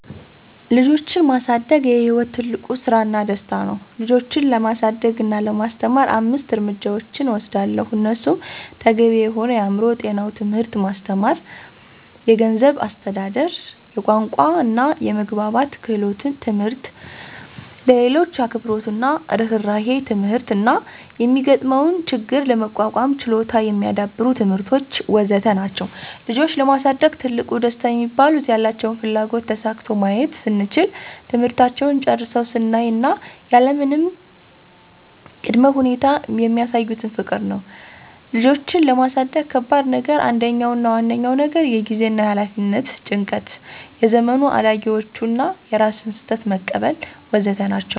ልጆችን ማሳደግ የሕይወት ትልቁ ስራና ደስታ ነው ልጆችን ለማሳደግ እና ለማስተማር አምስት እርምጃዎችን እወስዳለሁ እነሱም ተገቢ የሆነ የአእምሮ ጤናው ትምህርት ማስተማር፣ የገንዝብ አስተዳደር፣ የቋንቋና የመግባባት ክህሎት ትምህርት፣ ለሌሎች አክብሮትና እርህራሄ ትምህርት እና የሚጋጥመውን ችግር ለመቋቋም ችሎታ የሚዳብሩ ትምህርቶች.. ወዘተ ናቸዉ። ልጆችን ለማሳደግ ትልቁ ደስታ ሚባሉት፦ ያላቸውን ፍላጎት ተሳክቶ ማየት ስንችል፣ ትምህርታቸውን ጨርሰው ስናይ እና ያለምንም ቀ ቅድመ ሁኔታ የሚሳዩን ፍቅር ነው። ልጆችን ለማሳደግ ከባድ ነገር አንደኛው አና ዋነኛው ነገር የጊዜና የኋላፊነት ጭንቀት፣ የዘመኑ አዳጊዎቹ እና የራስን ስህተት መቀበል.. ወዘተ ናቸው።